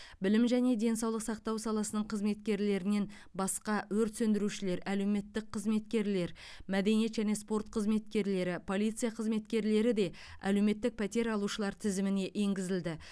білім және денсаулық сақтау саласының қызметкерлерінен басқа өрт сөндірушілер әлеуметтік қызметкерлер мәдениет және спорт қызметкерлері полиция қызметкерлері де әлеуметтік пәтер алушылар тізіміне енгізілді